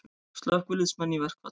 Slökkviliðsmenn í verkfall